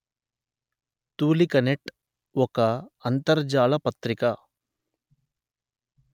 తూలికనెట్ ఒక అంతర్జాల పత్రిక